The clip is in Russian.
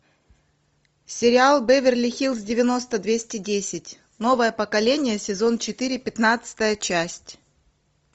сериал беверли хиллз девяносто двести десять новое поколение сезон четыре пятнадцатая часть